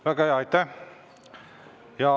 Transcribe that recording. Väga hea, aitäh!